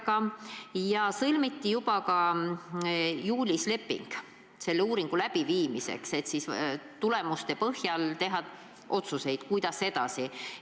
Juulis sõlmiti juba leping uuringu läbiviimiseks, et tulemuste põhjal teha otsuseid, kuidas edasi.